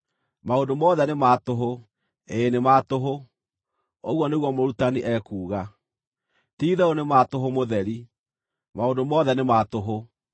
“Maũndũ mothe nĩ ma tũhũ! Ĩĩ nĩ ma tũhũ!” Ũguo nĩguo Mũrutani ekuuga. “Ti-itherũ nĩ ma tũhũ mũtheri! Maũndũ mothe nĩ ma tũhũ.”